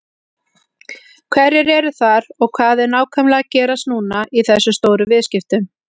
Hverjir eru þar og hvað er nákvæmlega að gerast núna í þessum stóru viðskiptum?